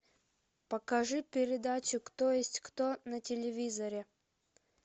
покажи передачу кто есть кто на телевизоре